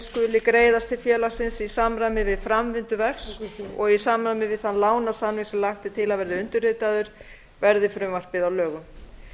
skuli greiðast til félagsins í samræmi við framvindu verks og í samræmi við þann lánasamning sem lagt er til að verði undirritaður verði frumvarpið að lögum